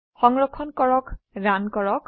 সংৰক্ষণ কৰক ৰান কৰক